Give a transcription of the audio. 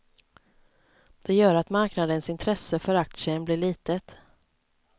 Det gör att marknadens intresse för aktien blir litet.